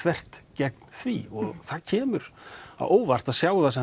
gegn því og það kemur á óvart að sjá